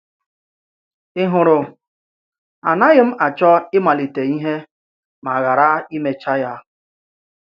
Ị hụrụ, anaghị m achọ ị̀malite ìhè ma ghàrà imechà ya.